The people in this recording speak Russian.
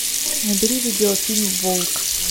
набери видеофильм волк